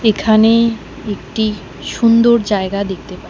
এখানে একটি সুন্দর জায়গা দেখতে পাই।